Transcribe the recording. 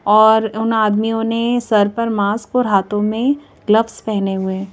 और उन आदमियों ने सर पर मास्क और हाथों में ग्लव्स पहने हुए हैं।